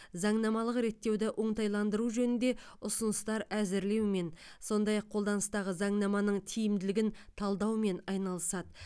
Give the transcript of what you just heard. заңнамалық реттеуді оңтайландыру жөнінде ұсыныстар әзірлеумен сондай ақ қолданыстағы заңнаманың тиімділігін талдаумен айналысады